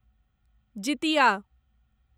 Jitiya